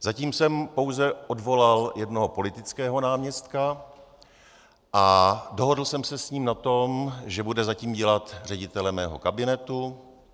Zatím jsem pouze odvolal jednoho politického náměstka a dohodl jsem se s ním na tom, že bude zatím dělat ředitele mého kabinetu.